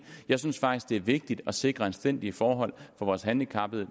jeg synes faktisk det er vigtigt at sikre anstændige forhold for vores handicappede